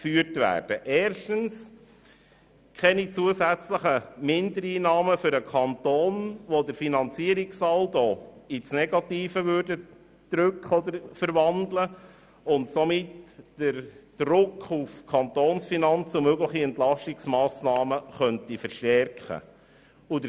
Erstens will sie keine zusätzlichen Mindereinnahmen für den Kanton, die den Finanzierungssaldo ins Negative wandeln würden und damit den Druck auf die Kantonsfinanzen und mögliche Entlastungsmassnahmen verstärken könnten.